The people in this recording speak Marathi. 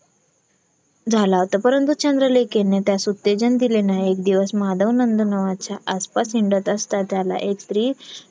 झाला होता परंतु चंद्रलेखाने त्यास उत्तेजन दिले नाही. एक दिवस माधवनंद नावाच्या आसपास हिंडत असतात त्याला एक स्त्री